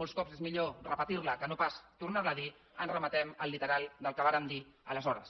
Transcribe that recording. molts cops és millor repetir la que no pas tornar la a dir ens remetem al literal del que vàrem dir aleshores